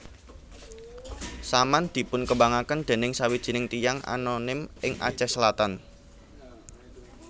Saman dipunkembangaken dening sawijining tiyang anonim ing Aceh Selatan